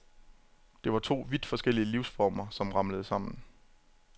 Det var to vidt forskellige livsformer, som ramlede sammen.